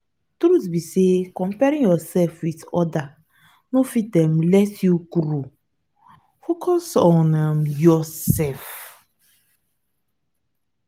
truth be sey comparing yoursef with other no fit um let you grow focus um on yoursef.